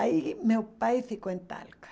Aí meu pai ficou em Talca.